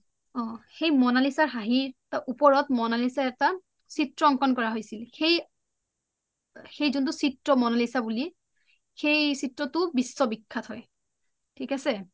সেই মনালিশা ৰ হাঁহি ওপৰত মনালিশা ৰ এটা চিএ অংকন কৰা হৈছিল , সেই যোনটো চিএ মনালিশা বুলি সেই চিএটো বিশ্ব বিখ্যাত হয়। থিক আছে?